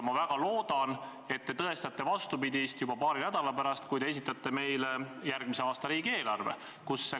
Ma väga loodan, et te tõestate vastupidist juba paari nädala pärast, kui te esitate meile järgmise aasta riigieelarve.